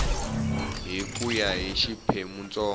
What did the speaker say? hi ku ya hi xiphemuntsongo